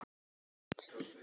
Það segir sig líklega sjálft.